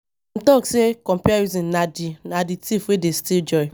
Dem talk sey comparison na di thief wey dey steal joy